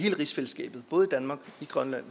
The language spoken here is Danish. grønland